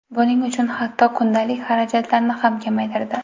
Buning uchun hatto kundalik xarajatlarni ham kamaytirdi.